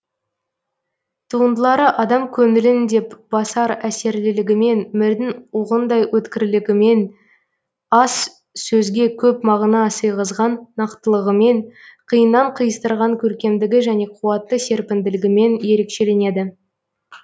туындылары адам көңілін деп басар әсерлілігімен мірдің оғындай өткірлігімен аз сөзге көп мағына сыйғызған нақтылығымен қиыннан қиыстырған көркемдігі және куатты серпінділігімен ерекшеленеді